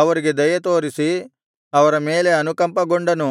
ಅವರಿಗೆ ದಯೆ ತೋರಿಸಿ ಅವರ ಮೇಲೆ ಅನುಕಂಪಗೊಂಡನು